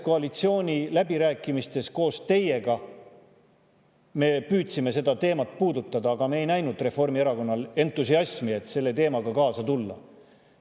Koalitsiooniläbirääkimistel koos teiega me püüdsime seda teemat puudutada, aga me ei näinud Reformierakonnal entusiasmi, et selle teemaga kaasa tulla.